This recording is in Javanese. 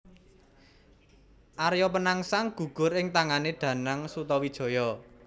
Arya Penangsang gugur ing tangané Danang Sutawijaya